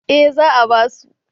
Eh za a ba su